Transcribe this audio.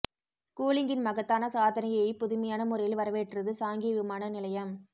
ஸ்கூலிங்கின் மகத்தான சாதனையை புதுமையான முறையில் வரவேற்றது சாங்கி விமான நிலையம்